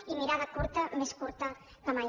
i mirada curta més curta que mai